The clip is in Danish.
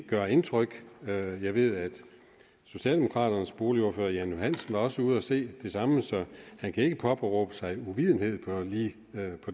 gøre indtryk jeg ved at socialdemokraternes boligordfører herre jan johansen også var ude at se det samme så han kan ikke påberåbe sig uvidenhed på lige det